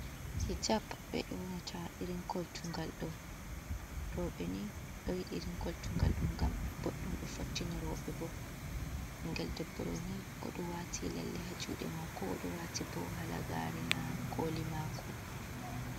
Hijab ɓe yonata irin koltungal ɗo, roɓe ni ɗo yidi irin koltugal ɗum ngam boddum do fottina roɓe, bingel l Debbo ni oɗo waati lalle ha juɗe mako oɗo waati bo halagare ha koli mako.